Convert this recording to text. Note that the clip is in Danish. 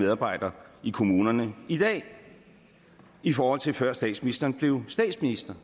medarbejdere i kommunerne i dag i forhold til før statsministeren blev statsminister